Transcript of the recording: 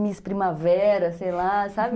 Miss Primavera, sei lá, sabe?